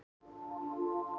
Þá leið mér svo vel.